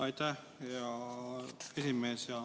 Aitäh, hea esimees!